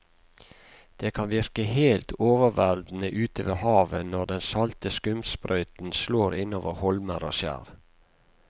Det kan virke helt overveldende ute ved havet når den salte skumsprøyten slår innover holmer og skjær.